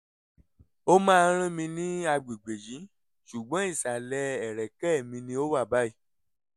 ó máa ń rán mi ní àgbègbè yìí ṣùgbọ́n ìsàlẹ̀ ẹ̀rẹ̀kẹ́ mi ni ó wà báyìí